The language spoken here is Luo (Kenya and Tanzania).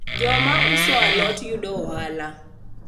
jok mauso alot yudo ohala